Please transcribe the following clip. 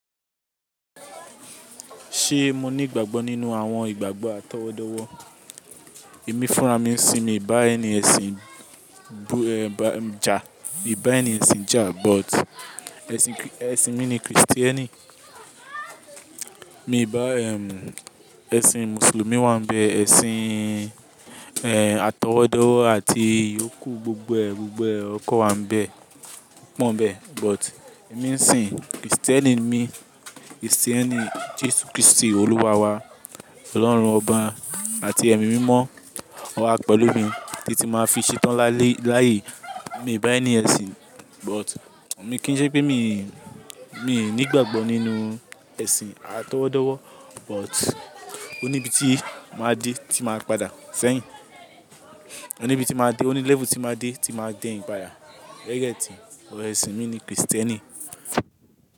Ṣe mo ni ìgbàgbọ́ nínú àwọn ìgbàgbọ́ àtọwọdọwọ? Èmi fúnra mí ń sin mi bà ẹni ẹṣin bu eh bà ẹja, mi bà ẹni ẹṣin ja but ẹṣin ki-- ẹṣin mi ni Kristieni. Mi bà ehm ẹṣin mùsùlùmí wá ń bẹ, ẹṣin eh àtọwọdọwọ àti ìyókù gbogbo ẹgbọgbọ ọkọ wá ń bẹ, èmi ń sin Kristieni ni mi, Kristieni Jesu Kristi olúwa wa, Ọlọ́run ọba àti ẹ̀mí mímọ́ wọn wá pẹ̀lú mi títi máa fi ṣetán lálé-- láàyè. Mi bà ẹni ẹṣin but ò mi kí n jẹ́ pé mi, mi nígbàgbọ nínú ẹṣin àtọwọdọwọ but oníbi tí máa dé tí máa padà sẹ́yìn. Oní bi tí máa dé, oní level tí máa dé tí máa déyin padà. Ọrọ ẹṣin mi ni Kristieni.